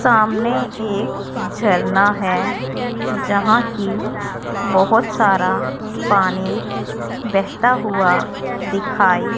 सामने एक झरना है जहां कि बहुत सारा पानी बहता हुआ दिखाई--